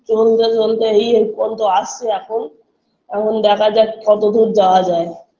চলতে চলতে এই এই পর্যন্ত আসছে এখন এখন দেখা যাক কতদূর যাওয়া যায়